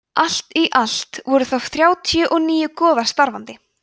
allt í allt voru þá þrjátíu og níu goðar starfandi